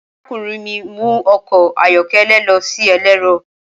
Arakunrin mi mu ọkọ ayọkẹlẹ lọ si ẹlẹrọ.